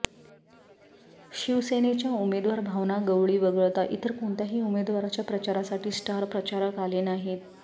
शिवसेनेच्या उमेदवार भावना गवळी वगळता इतर कोणत्याही उमेदवाराच्या प्रचारासाठी स्टार प्रचारक आले नाहीत